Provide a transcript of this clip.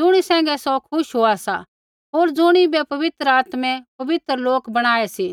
ज़ुणी सैंघै सौ खुश होआ सा होर ज़ुणिबै पवित्र आत्मै पवित्र लोक बणायै सी